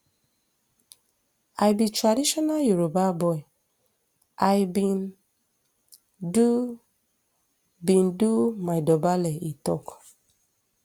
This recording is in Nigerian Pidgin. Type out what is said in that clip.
i be traditional yoruba boy i bin do bin do my dobale e tok